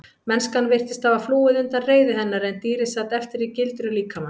Mennskan virtist hafa flúið undan reiði hennar en dýrið sat eftir í gildru líkamans.